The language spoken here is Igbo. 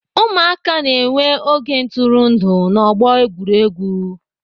Ụmụaka na-enwe oge ntụrụndụ n'ọgbọ egwuregwu.